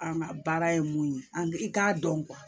An ka baara ye mun ye an bi i k'a dɔn